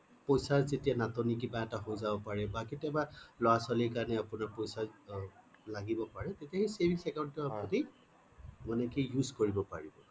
পইছাৰ যেতিয়া নাটনি কিবা এটা হৈ যাব পাৰে বা কেতিয়াবা লৰা ছোৱালী কাৰণে আপোনাৰ পইছা লাগিব পাৰে তেতিয়াই সেই savings account ৰ আপুনি মানে কি use কৰিব পাৰিব